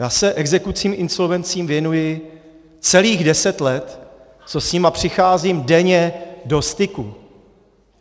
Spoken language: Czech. Já se exekucím, insolvencím věnuji celých deset let, co s nimi přicházím denně do styku.